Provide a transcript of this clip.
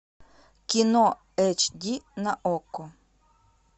кино эйч ди на окко